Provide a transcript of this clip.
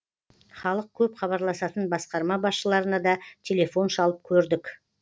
халық көп хабарласатын басқарма басшыларына да телефон шалып көрдік